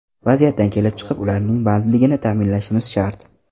Vaziyatdan kelib chiqib, ularning bandligini ta’minlashimiz shart.